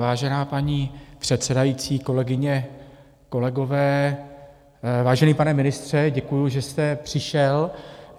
Vážená paní předsedající, kolegyně, kolegové, vážený pane ministře, děkuji, že jste přišel.